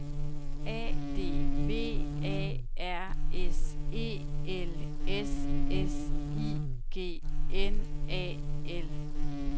A D V A R S E L S S I G N A L